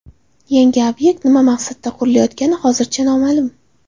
Yangi obyekt nima maqsadda qurilayotgani hozircha noma’lum.